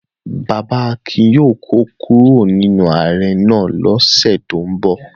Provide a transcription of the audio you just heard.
Bàbá Akin yóò kó kúrò nínú ahéré náà lọ́sẹ̀ tó ń bọ̀.